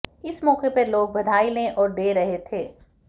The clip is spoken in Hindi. इस मौके पर लोग बधाई ले और दे रहे थे